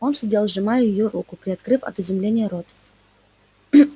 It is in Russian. он сидел сжимая её руку приоткрыв от изумления рот